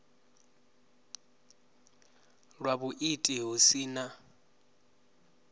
lwa vhuiiti hu si na